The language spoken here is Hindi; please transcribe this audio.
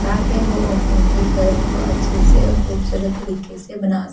ताकि वो वो उनके घरों को अच्छे से और खूबसूरत तरीके से बना सकें।